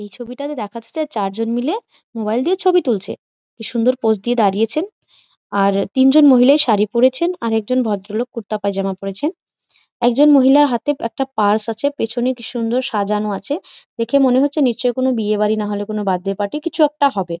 এই ছবিটাতে দেখাতে চাই চারজন মিলে মোবাইল দিয়ে ছবি তুলছে বেশ সুন্দর পোজ দিয়ে দাঁড়িয়েছেন আর তিনজন মহিলার শাড়ি পড়েছেন আর একজন ভদ্রলোক কুর্তা পায়জামা পড়েছেন একজন মহিলার হাতে একটা পার্স আছে পেছনে কি সুন্দর সাজানো আছে দেখে মনে হচ্ছে নিশ্চয়ই কোন বিয়ে বাড়ি না হলে কোন বার্থডে পার্টি কিছু একটা হবে।